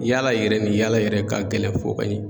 Yaala yɛrɛ ni yaala yɛrɛ ka gɛlɛn fɔ ka in